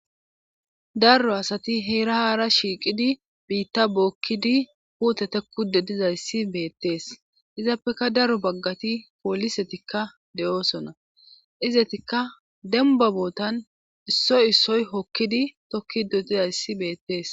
daro asati heera haara shiiqidi biitta bookkidi puute tekku dedizayssi beettees izappeka daro baggati poolisetikka de7oosona izetikka demba bootan issoy issoy hokkidi tokkido dizayssi beettees